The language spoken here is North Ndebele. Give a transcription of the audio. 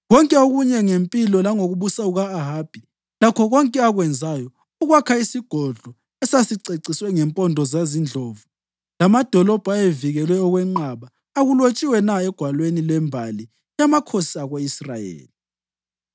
Konke okunye ngempilo langokubusa kuka-Ahabi lakho konke akwenzayo, ukwakha isigodlo esasiceciswe ngempondo zezindlovu, lamadolobho ayevikelwe okwenqaba, akulotshwanga na egwalweni lwembali yamakhosi ako-Israyeli?